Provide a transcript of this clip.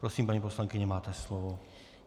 Prosím paní poslankyně, máte slovo.